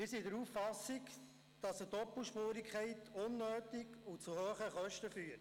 Wir sind der Auffassung, dass eine Doppelspurigkeit unnötig ist und zu hohen Kosten führt.